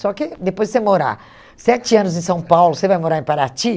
Só que depois de você morar sete anos em São Paulo, você vai morar em Paraty?